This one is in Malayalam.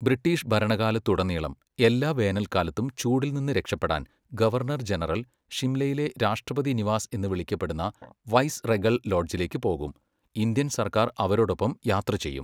ബ്രിട്ടീഷ് ഭരണകാലത്തുടനീളം, എല്ലാ വേനൽക്കാലത്തും ചൂടിൽ നിന്ന് രക്ഷപ്പെടാൻ ഗവർണർ ജനറൽ ഷിംലയിലെ രാഷ്ട്രപതി നിവാസ് എന്ന് വിളിക്കപ്പെടുന്ന വൈസ്റെഗൽ ലോഡ്ജിലേക്ക് പോകും, ഇന്ത്യൻ സർക്കാർ അവരോടൊപ്പം യാത്ര ചെയ്യും.